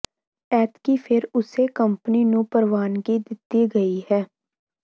ਐਤਕੀਂ ਫਿਰ ਉਸੇ ਕੰਪਨੀ ਨੂੰ ਪ੍ਰਵਾਨਗੀ ਦਿੱਤੀ ਗਈ ਹੈ